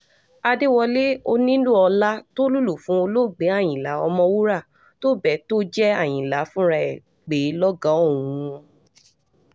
àdẹ́wọ́lẹ̀ onílù-ọlá tó lùlù fún olóògbé àyínlá ọ̀mọ̀wúrà tó bẹ́ẹ̀ tó jẹ́ àyìnlá fúnra ẹ̀ pè é lọ́gàá òun